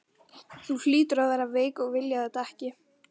Þú hlýtur að vera veik að vilja þetta ekki!